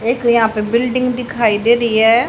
एक यहां पे बिल्डिंग दिखाई दे री है।